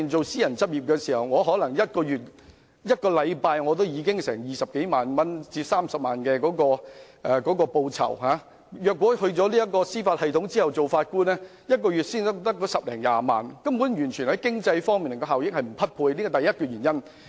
私人執業的收入可能每星期高達20萬元至30萬元，但在司法機構擔任法官的薪酬卻只是每月10萬元至20萬元，與經濟效益完全不匹配，這是第一個原因。